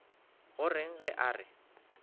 go reng ge a re